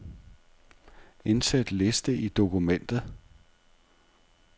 Indsæt liste i dokumentet.